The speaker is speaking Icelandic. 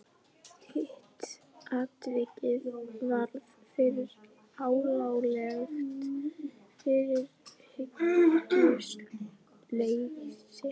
Hitt atvikið varð fyrir hlálegt fyrirhyggjuleysi.